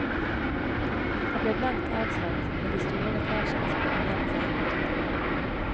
Det blir blankt avslått, med de store lekkasjene som fremdeles er inne i tunnelen.